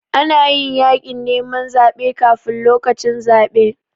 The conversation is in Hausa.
Ana yin yaƙin neman zaɓe kafun lokacin zaɓe.